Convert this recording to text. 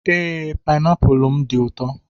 Ee, painapụl m dị ụtọ.